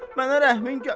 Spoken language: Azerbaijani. Mənə rəhmin gəlsin.